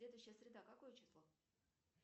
следующая среда какое число